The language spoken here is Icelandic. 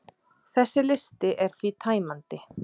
Þessi listi er því tæmandi.